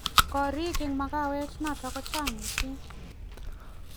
korik eng makawet notok ko chang mising